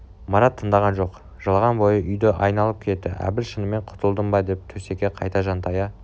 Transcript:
марат тындаған жоқ жылаған бойы үйді айналып кетті әбіл шынымен құтылдым ба деп төсекке қайта жантая